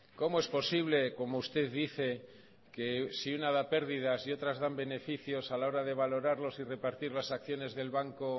cómo es posible como usted dice que si una da pérdidas y otras dan beneficios a la hora de valorarlos y repartir las acciones del banco